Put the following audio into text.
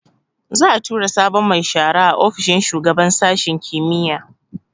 Za'a tura sabon mai shara a ofishin shugaban sashin kimiyya